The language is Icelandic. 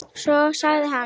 Svo sagði hann